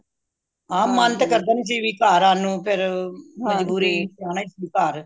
ਹਾਂ ਮਨ ਤੇ ਕਰਦਾ ਨਹੀਂ ਸੀ ਘਰ ਆਣ ਨੂੰ ਫੇਰ ਮਜਬੂਰੀ ਆਨਾ ਹੀ ਸੀ ਘਰ